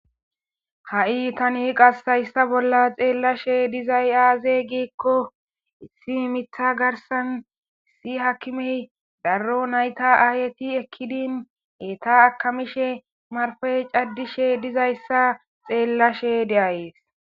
Ha'i tani qasayssa bolla xeellashe dizay aaze gikko issi mitha garsan isi hakimey darro nayta aayeti ekkidin eta akamishe marfey caddishe dizayssa xeellashe de'ayees.